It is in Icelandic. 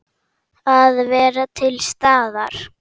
Að vera til staðar.